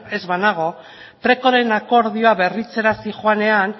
ez banago precoren akordioa berritzera zihoanean